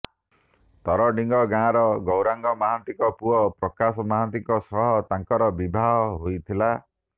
ତରଡ଼ିଙ୍ଗ ଗାଁର ଗୌରାଙ୍ଗ ମହାନ୍ତିଙ୍କ ପୁଅ ପ୍ରକାଶ ମହାନ୍ତିଙ୍କ ସହ ତାଙ୍କର ବିବାହ ହୋଇଥିଲା